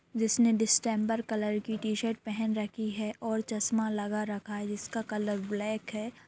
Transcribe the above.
जिसने डिस्टेंबर कलर की टी-शर्ट पहन रखी है और चस्मा लगा रखा है जिसका कलर ब्लैक है।